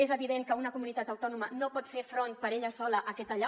és evident que una comunitat autònoma no pot fer front per ella sola a aquesta allau